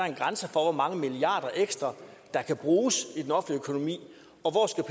en grænse for hvor mange milliarder ekstra der kan bruges